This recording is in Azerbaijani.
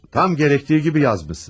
Tam gərəktiyi kimi yazmışsınız.